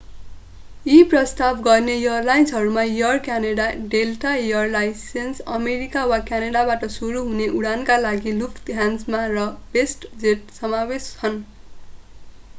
यी प्रस्ताव गर्ने एयरलाइन्सहरूमा Air Canada Delta Air Lines America वा क्यानडाबाट सुरु हुने उडानका लागि लुफ्थहान्सा र वेस्टजेट समावेश छन्